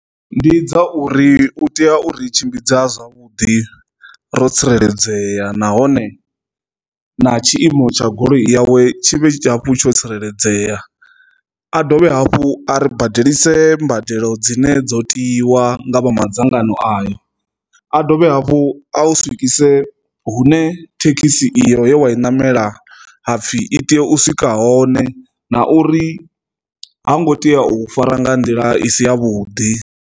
Ndi dza uri u tea uri tshimbidza zwavhuḓi ro tsireledzea nahone na tshiimo tsha goloi yawe tshiṅwe hafhu tsho tsireledzea a dovhe hafhu a ri badeliwe mbadelo dzine dzo tiwa nga vha madzangano ayo, a dovhe hafhu a u swikise hune thekhisi iyo yo wa i namela hapfi i tea u swika hone na uri ha ngo tea u fara nga nḓila i si ya vhuḓi.